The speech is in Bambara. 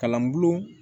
Kalan bulon